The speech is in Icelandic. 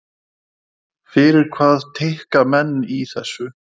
Fyrir hvað tikka menn í þessu?